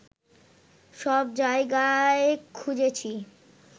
সব জায়গায় খুঁজেছি